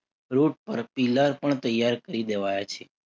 route પર pillar પણ તૈયાર કરી દેવાયા છે.